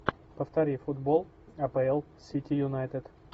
повтори футбол апл сити юнайтед